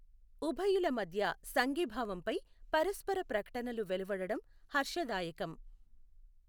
ఉభయుల మధ్య సంఘీభావంపై పరస్పర ప్రకటనలు వెలువడడం హర్షదాయకం.